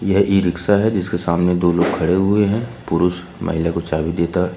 यह e rickshaw है जिसके सामने दो लोग खड़े हुए हैं पुरुष महिला को चाबी देता--